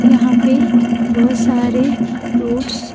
यहां पे बहुत सारे रोड्स --